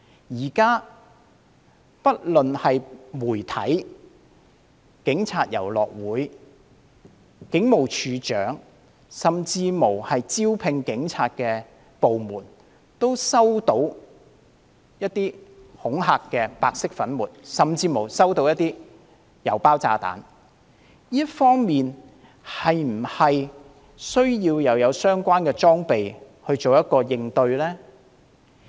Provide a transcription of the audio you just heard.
現時不論媒體、警察體育遊樂會、警務處處長甚至招聘警員的部門，也收到白色粉末甚至郵包炸彈恐嚇，在這方面，是否需要添置相關裝備以作出應對呢？